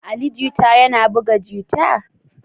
Ali Jita yana buga jita?